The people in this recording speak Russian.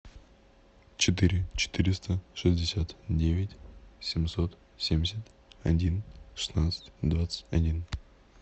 четыре четыреста шестьдесят девять семьсот семьдесят один шестнадцать двадцать один